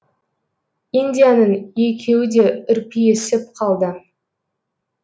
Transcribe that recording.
индияның екеуі де үрпиісіп қалды